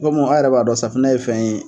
Kɔmi a yɛrɛ b'a dɔn safunɛ ye fɛn ye.